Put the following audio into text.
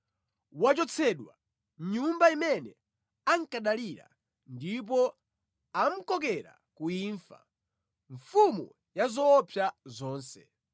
Wachotsedwa mʼnyumba imene ankadalira, ndipo amukokera ku imfa, mfumu ya zoopsa zonse.